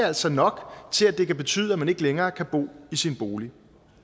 altså nok til at det kan betyde at man ikke længere kan bo i sin bolig